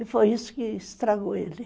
E foi isso que estragou ele.